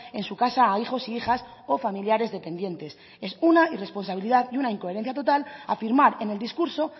en su casa a hijos e hijas o familiares dependientes es una irresponsabilidad y una incoherencia total afirmar en el discurso